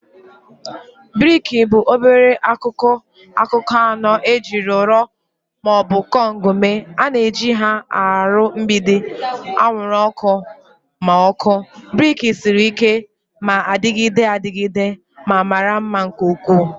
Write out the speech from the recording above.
Briki bụ obere akụkụ akụkụ anọ ejiri ụrọ ma ọ bụ kọnk mee. A na-eji ha arụ mgbidi, anwụrụ ọkụ, na ọkụ. Brick siri ike, na-adịgide adịgide, ma mara mma nke ukwuu